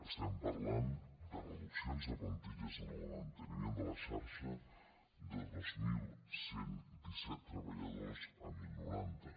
estem parlant de reduccions de plantilles en el manteniment de la xarxa de dos mil cent i disset treballadors a deu noranta